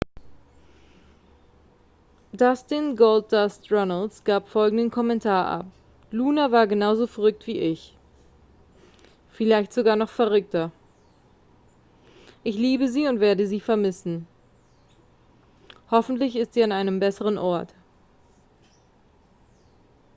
dustin goldust runnels gab folgenden kommentar ab: luna war genauso verrückt wie ich ... vielleicht sogar noch verrückter ... ich liebe sie und werde sie vermissen ... hoffentlich ist sie an einem besseren ort.